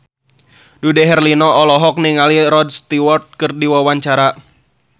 Dude Herlino olohok ningali Rod Stewart keur diwawancara